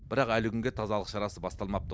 бірақ әлі күнге тазалық шарасы басталмапты